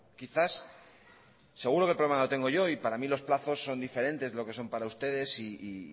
quizás seguro que el problema lo tengo yo y para mí los plazos son diferentes de lo que son para ustedes y